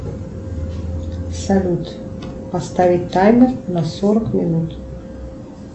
салют поставить таймер на сорок минут